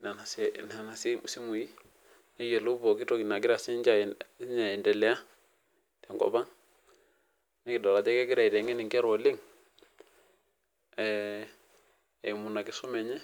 nona simui neyiolou pooki toki nagira anedelea nikidol ajo kegira aitengen oleng eimu enkisuma enye